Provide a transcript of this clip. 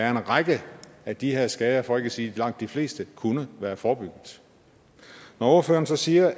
en række af de her skader for ikke at sige langt de fleste kunne være forebygget når ordføreren så siger